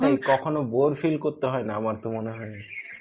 কখনো bore feel করতে হয়না আমার তো মনে হয়.